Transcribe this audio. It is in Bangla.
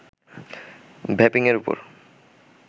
ভ্যাপিংয়ের উপর